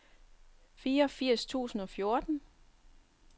fireogfirs tusind og fjorten